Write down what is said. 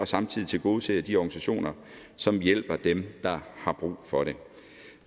samtidig tilgodeser de organisationer som hjælper dem der har brug for det